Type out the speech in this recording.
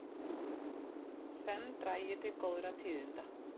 Senn dragi til góðra tíðinda